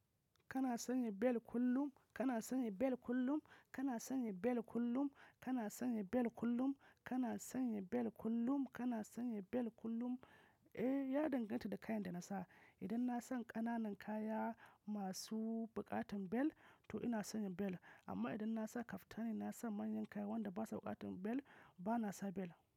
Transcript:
Kana sanya bel kullum? Kana sanya belt kullum? Kana sanya bel kullum? Kana sanya bel kullum? Kana sanya bel kullum? Kana sanya bel kullum? Eh, ya danganta da kayan da na sa. Idan na sa ƙananan kaya masu buƙatar bel to ina sanya bel, amma idan na sa kaftani ko na sa manyan kaya wanda ba su buƙatar bel, ba na sa bel.